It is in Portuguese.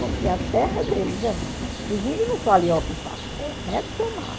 Porque a terra deles é. Os índios não falam em ocupar, é retomar.